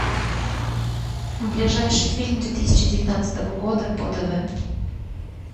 ближайший фильм две тысячи девятнадцатого года по тв